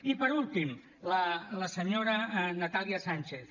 i per últim la senyora natàlia sànchez